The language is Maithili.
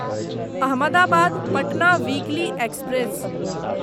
Ahmedabad Patna weekly express